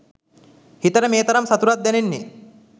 හිතට මේ තරම් සතුටක් දැනෙන්නේ